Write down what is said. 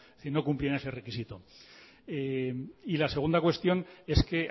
no cumplían ese requisito y la segunda cuestión es que